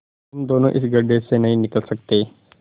तुम दोनों इस गढ्ढे से नहीं निकल सकते